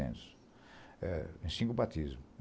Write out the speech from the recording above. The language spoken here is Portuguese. É em cinco batismos.